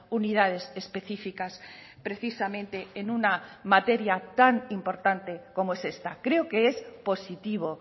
unidades específicas precisamente en una materia tan importante como es esta creo que es positivo